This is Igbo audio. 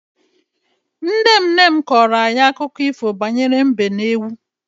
Nne nne m kọrọ anyị akụkọ ifo banyere mbe na ewu.